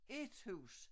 Ét hus